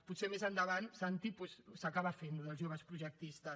potser més endavant santi doncs s’acaba fent això dels joves projectistes